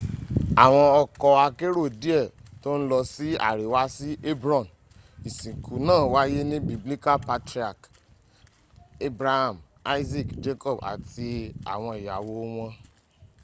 àwọn ọkọ́ akérò díẹ̀ tó ń lọ sí àríwá sí hebron ìsìnkú náà wáyé ní biblical patriarch abraham isaac jacob àti àwọn ìyàwó wọn